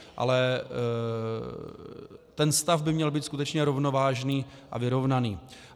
Ale ten stav by měl být skutečně rovnovážný a vyrovnaný.